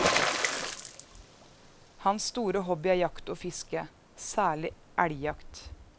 Hans store hobby er jakt og fiske, særlig elgjakt.